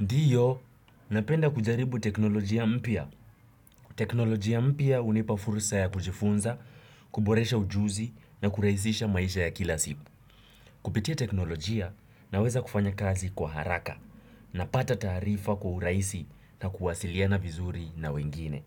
Ndiyo, napenda kujaribu teknolojia mpya. Teknolojia mpya hunipa fursa ya kujifunza, kuboresha ujuzi na kurahisisha maisha ya kila siku. Kupitia teknolojia naweza kufanya kazi kwa haraka napata taarifa kwa urahisi na kuwasiliana vizuri na wengine.